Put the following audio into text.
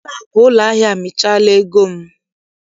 Ụlọakụ ụlọahịa amịchaala ego m.